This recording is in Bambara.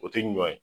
O tɛ ɲɔ ye